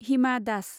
Hima Das